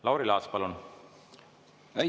Lauri Laats, palun!